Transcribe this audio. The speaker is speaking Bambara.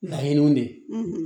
Laɲiniw de